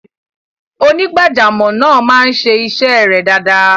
onígbàjàmọ̀ naa maa n se ise re dada